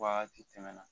Wagati tɛmɛ na